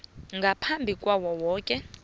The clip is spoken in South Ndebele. ngaphambi kwayo yoke